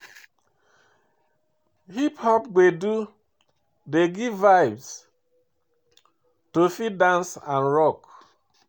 Hip pop gbedu dey give vibe to fit dance and rock